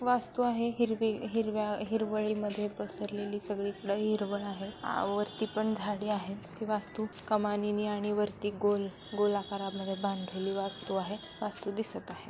वास्तु आहे हिरवे हिरव्या हिरवळी मध्ये पसरलेली सगळी कड हिरवळ आहे आवरती पण झाडे आहे ती वास्तु कमानी आणि वरती गोल-गोल आकारामध्ये बांधलेली वास्तु आहे वास्तु दिसत आहे.